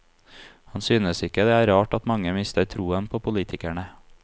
Han synes ikke det er rart at mange mister troen på politikerne.